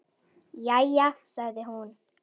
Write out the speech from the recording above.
Jæja sagði hún.